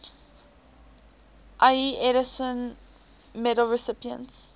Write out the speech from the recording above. ieee edison medal recipients